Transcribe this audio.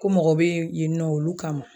Ko mɔgɔ be yen nɔ olu kama